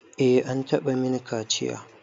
Eh an taɓa min kaciya.